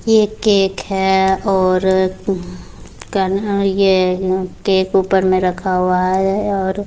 ये केक है और अ हम्म केक ऊपर में रखा हुआ है और --